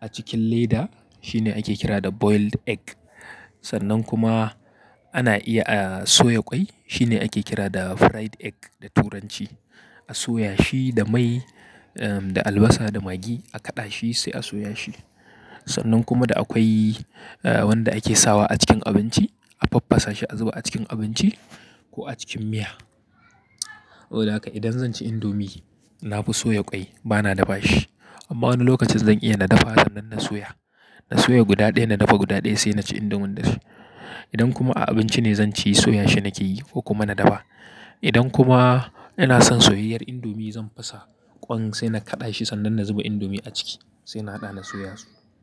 a cikin leda shine ake kira da boiled egg. Sannan kuma ana iya a soya ƙwai shine ake kira da fried egg da turanci. A soya shi da mai, um, da albasa da magi a kaɗa shi sai a soya shi. Sannan kuma da akwai, eh, wanda ake sawa a cikin abinci a faffasa shi a zuba a cikin abinci ko a cikin miya. Hoda haka idan zan ci indomi na fi soya ƙwai bana dafa shi. Amma wani lokacin zan iya na dafa sannan na soya. Na soya guda ɗaya na dafa guda ɗaya sai na ci indomin da shi. Idan kuma a abinci ne zan ci soya shi nake yi ko kuma na dafa. Idan kuma ina son soyayyar indomi zan fasa ƙwan sai na kaɗa shi sannan na zuba indomi a ciki sai na haɗa na soya su.